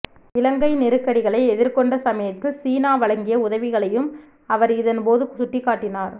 இலங்கை நெருக்கடிகளை எதிர்கொண்ட சமயத்தில் சீனா வழங்கிய உதவிகளையும் அவர் இதன் போது சுட்டிக்காட்டினார்